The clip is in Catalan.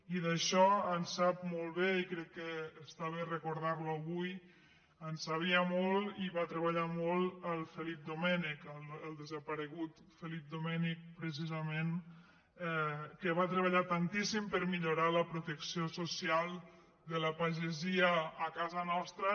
i d’això en sap molt i crec que està bé recordar·lo avui en sabia molt i hi va treballar molt el felip domènech el desaparegut felip domènech precisament que va treballar tantíssim per millorar la protecció social de la pagesia a casa nostra